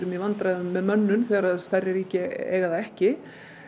í vandræðum með mönnun þegar stærri ríki eiga það ekki